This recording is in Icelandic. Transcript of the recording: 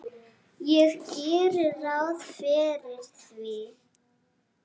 Ég geri ráð fyrir því.